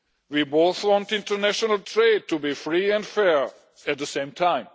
We both want international trade to be free and fair at the same time.